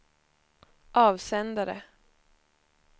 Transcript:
avsändare